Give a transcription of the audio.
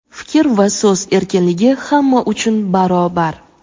Fikr va so‘z erkinligi hamma uchun barobar!.